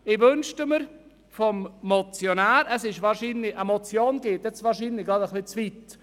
Eine Motion geht wahrscheinlich ein bisschen zu weit.